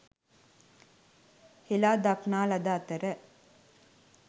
හෙළාදක්නා ලද අතර